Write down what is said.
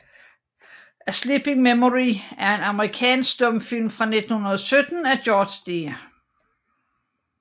A Sleeping Memory er en amerikansk stumfilm fra 1917 af George D